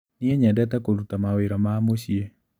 Niĩ nyendete kũruta mawĩra ma mũciĩ.